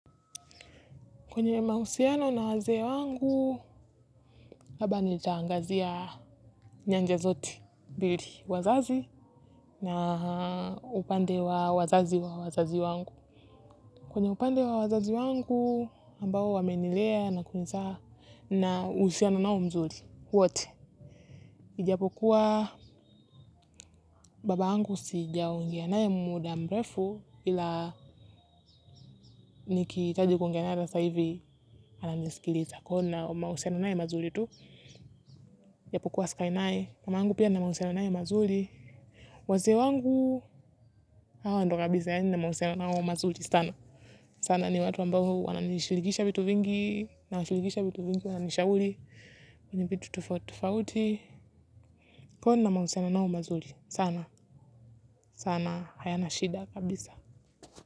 Kwenye mahusiano na wazee wangu, labda nitaangazia nyanja zoti. Bili, wazazi na upande wa wazazi wa wazazi wangu. Kwenye upande wa wazazi wangu, ambao wa menilea na kunizaa na uhusiano nao mzuri. Wote, ijapokuwa baba angu sija ongea nae muda mrefu, ila nikihitaji kuongea nae sasa hivi, ananisikiliza kwahiyo nina mahusiano nae mazuri tu. Japokuwa sikai nae mama yangu pia na mahusiano nae mazuri wazee wangu hawa ndio kabisa yani mahusiano nao mazuri sana sana ni watu ambao wananishilikisha vitu vingi nawanishilikisha vitu vingi wananisha uli kwenye vitu tofautitofauti kwaiyo nina mahusiano nao mazuli sana sana hayana shida kabisa.